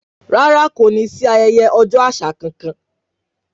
Rárá kò ní sí ayẹyẹ ọjọ́ àṣà kankan